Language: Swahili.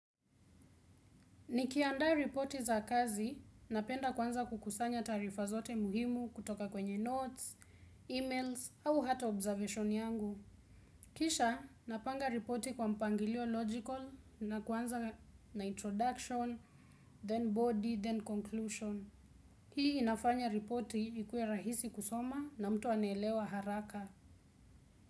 Nikiandaa ripoti za kazi, napenda kwanza kukusanya taarifa zote muhimu kutoka kwenye notes, emails, au hata observation yangu. Kisha, napanga ripoti kwa mpangilio logical na kuanza na introduction, then body, then conclusion. Hii inafanya ripoti ikue rahisi kusoma na mtu anaelewa haraka.